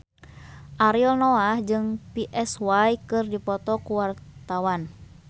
Ariel Noah jeung Psy keur dipoto ku wartawan